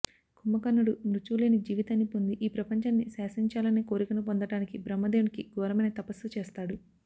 కుంభకర్ణుడు మృత్యువు లేని జీవితాన్ని పొంది ఈ ప్రపంచాన్ని శాసించేచాలనే కోరికను పొందటానికి బ్రహ్మదేవునికి ఘోరమైన తపస్సు చేస్తాడు